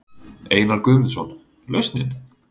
Einar Guðmundsson: Lausnin?